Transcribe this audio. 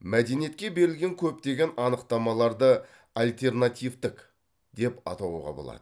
мәдениетке берілген көптеген анықтамаларды альтернативтік деп атауға болады